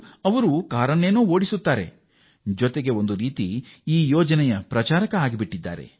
ಅವರು ಚಾಲಕರಾಗಿ ತಮ್ಮ ವೃತ್ತಿ ಮುಂದುವರಿಸಿದ್ದರೂ ಅವರು ಈ ಯೋಜನೆಯ ರಾಯಭಾರಿಯಾಗಿದ್ದಾರೆ